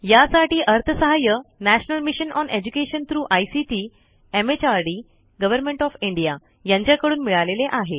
यासाठी अर्थसहाय्य national mission on education through ICT MHRD government of India यांच्याकडून मिळालेले आहे